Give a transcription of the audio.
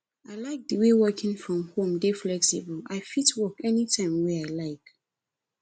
i like as working from home dey flexible i fit work anytime wey i like